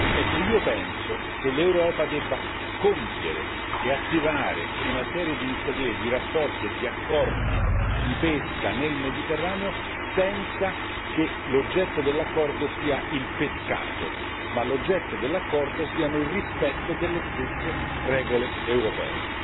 Ecco, io penso che l'Europa debba compiere e attivare una serie di iniziative, di rapporti e di accordi di pesca nel Mediterraneo senza che l'oggetto dell'accordo sia il pescato, ma l'oggetto dell'accordo siano il rispetto delle stesse regole europee.